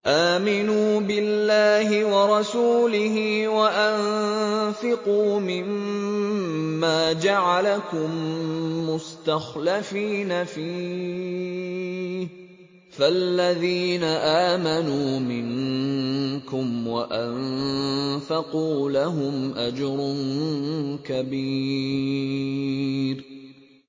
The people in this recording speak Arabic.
آمِنُوا بِاللَّهِ وَرَسُولِهِ وَأَنفِقُوا مِمَّا جَعَلَكُم مُّسْتَخْلَفِينَ فِيهِ ۖ فَالَّذِينَ آمَنُوا مِنكُمْ وَأَنفَقُوا لَهُمْ أَجْرٌ كَبِيرٌ